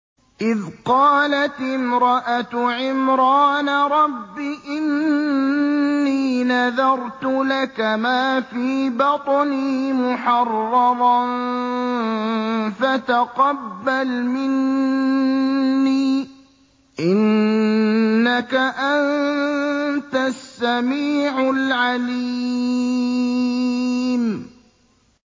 إِذْ قَالَتِ امْرَأَتُ عِمْرَانَ رَبِّ إِنِّي نَذَرْتُ لَكَ مَا فِي بَطْنِي مُحَرَّرًا فَتَقَبَّلْ مِنِّي ۖ إِنَّكَ أَنتَ السَّمِيعُ الْعَلِيمُ